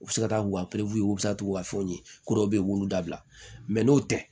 U bɛ se ka taa u ka u bɛ se ka t'u ka fɛnw ye k'u dɔw bɛ yen u b'u dabila n'o tɛ